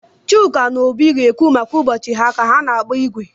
Chuka na Obi ga-ekwu maka ụbọchị ha ka ha na-agba igwe.